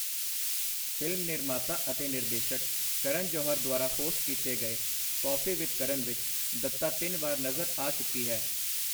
Film ਨਿਰਮਾਤਾ ਅਤੇ ਨਿਰਦੇਸ਼ਕ ਕਰਨ ਜੌਹਰ ਦੁਆਰਾ ਹੋਸਟ ਕੀਤੇ ਗਏ ਕੌਫੀ ਵਿਦ ਕਰਨ ਵਿੱਚ ਦੱਤਾ ਤਿੰਨ ਵਾਰ ਨਜ਼ਰ ਆ ਚੁੱਕੀ ਹੈ।